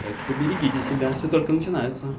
так что берегите себя все только начинается